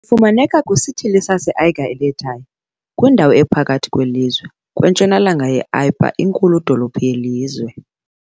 fumaneka kwisithili saseAiga-i-le-Tai, kwindawo ephakathi kwelizwe, kwentshonalanga ye -Apia, inkulu-dolophu yelizwe.